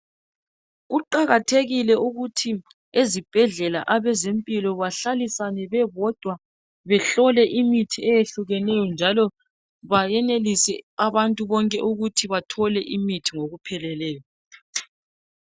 Kuqakathekile ukuthi ezibhedlela abezempilo bahlalisane bebodwa behlole imithi eyehlukeneyo njalo bayenelise abantu bonke ukuthi bathole imithi ngokupheleleyo.